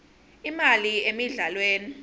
imali emidlalweni